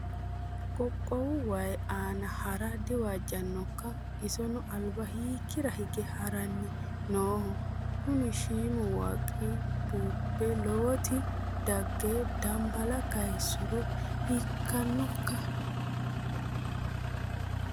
Qaaqqu waayi aana hara diwaajinokka? Isino alba hiikkira hige haranni nooho? Kuni shiimu waaqqi bubbe lowoti dagge danbala kayiissuro hiikkanokka?